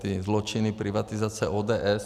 Ty zločiny privatizace ODS.